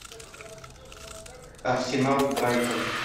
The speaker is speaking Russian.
арсенал брайтон